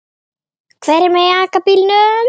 Hverjir mega aka bílnum?